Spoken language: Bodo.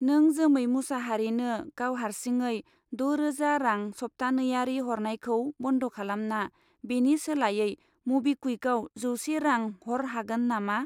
नों जोमै मुसाहारिनो गाव हारसिङै द' रोजा रां सप्तानैयारि हरनायखौ बन्द खालामना बेनि सोलायै मबिक्वुइकआव जौसे रां हर हागोन नामा?